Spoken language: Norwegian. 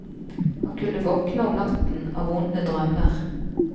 Han kunne våkne om natten av vonde drømmer.